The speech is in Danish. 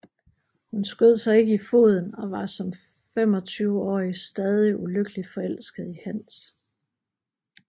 Hun skød sig ikke i foden og var som femogtyveårig stadig ulykkeligt forelsket i Hans